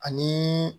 Ani